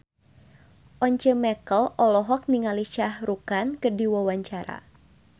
Once Mekel olohok ningali Shah Rukh Khan keur diwawancara